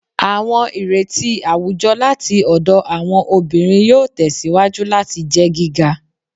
Awọn ireti awujọ lati ọdọ Awọn obinrin yoo tẹsiwaju lati jẹ giga